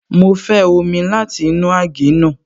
Mo fẹ́ omi láti inú àgé náà